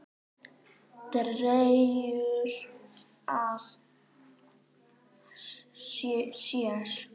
Dregur að sér.